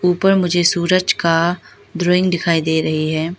ऊपर मुझे सूरज का ड्राइंग दिखाई दे रही है।